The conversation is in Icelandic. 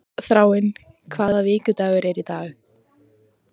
Þráinn, hvaða vikudagur er í dag?